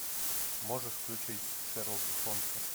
можешь включить шерлока холмса